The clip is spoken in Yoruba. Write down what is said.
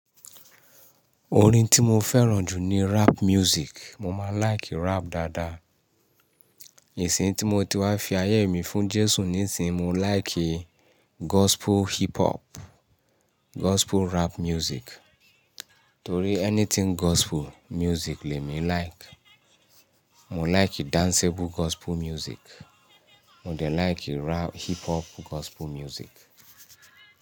Orin tí mo fẹ́ràn jù ni rap music. Mo máa like rap dáadáa. Ìsìnyi tí mo ti wá fi ayé mi fún Jésù nisinyi, mo like gospel hip hop, gospel rap music. Torí anything gospel music le mi like. Mo like danceable gospel music. Mo de like rap hip hop gospel music.